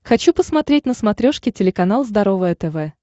хочу посмотреть на смотрешке телеканал здоровое тв